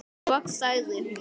Loks sagði hún: